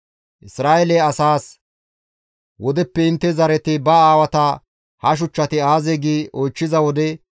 Isra7eele asaas, «Wodeppe intte zareti ba aawata, ‹Ha shuchchati aazee?› gi oychchiza wode,